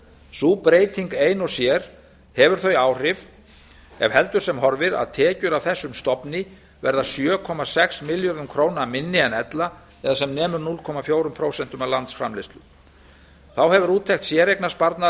sú breyting ein og sér hefur þau áhrif ef heldur sem horfir að tekjur af þessum stofni verða sjö komma sex milljörðum króna minni en ella það er sem nemur núll komma fjögur prósent af landsframleiðslu þá hefur úttekt séreignarsparnaðar